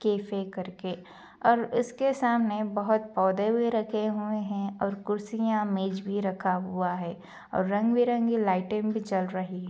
Cafe करके और उसके सामने बोहोत पौधे भी रखे हुए है और कुर्सियाँ मेज भी रखा हुआ है और रंग बिरंगी लाइटे भी चल रही है।